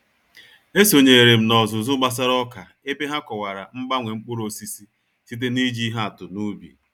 E sonyeere m n'ọzụzụ gbasara ọka ebe ha kọwara mgbanwe mkpụrụ osisi site n'iji ihe atụ n'ubi